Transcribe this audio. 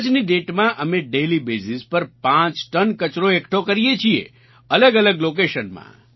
આજની દાતે માં અમે ડેઇલી બેઝ પર પાંચ ટન કચરો એકઠો કરીએ છીએ અલગઅલગ લોકેશન માં